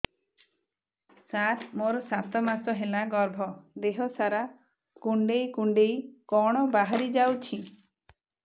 ସାର ମୋର ସାତ ମାସ ହେଲା ଗର୍ଭ ଦେହ ସାରା କୁଂଡେଇ କୁଂଡେଇ କଣ ବାହାରି ଯାଉଛି